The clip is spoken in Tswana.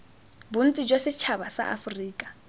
bontsi jwa setšhaba sa aforika